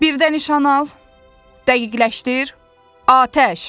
Bir də nişan al, dəqiqləşdir, Atəş!